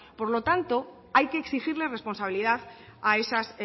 por lo tanto hay que exigir la responsabilidad a esas